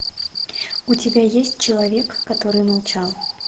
у тебя есть человек который молчал